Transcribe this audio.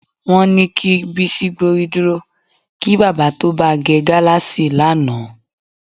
Wó̩n ni kí Bísí gbórí dúro kí bábà tó ba ge̩ gáláàsì lánàá